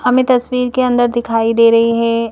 हमें तस्वीर के अंदर दिखाई दे रहे है।